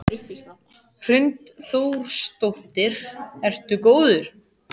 Hrund Þórsdóttir: Ertu góður?